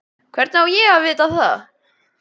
Hvernig á ég að vita það?